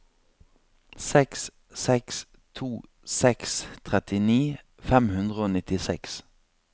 seks seks to seks trettini fem hundre og nittiseks